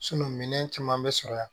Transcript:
minɛn caman bɛ sɔrɔ yan